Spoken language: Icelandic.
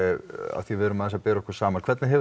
af því við erum aðeins að bera okkur saman hvernig hefur